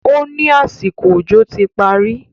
ó ní àsìkò òjò ti parí